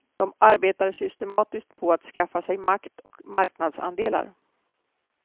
De arbetar systematiskt på att skaffa sig makt och marknadsandelar.